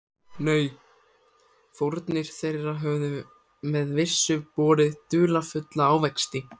Nei, fórnir þeirra höfðu með vissu borið dularfulla ávexti.